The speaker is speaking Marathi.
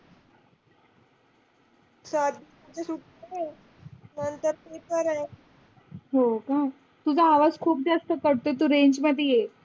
हो का तुझा आवाज़ खूप कटतोय तू range मधे ये.